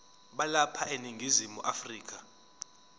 balapha eningizimu afrika